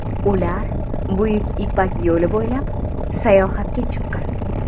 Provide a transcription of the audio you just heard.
Ular Buyuk ipak yo‘li bo‘ylab sayohatga chiqqan.